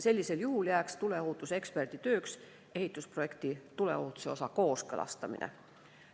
Sellisel juhul jääks tuleohutuseksperdi tööks ehitusprojekti tuleohutuse osa kooskõlastamine.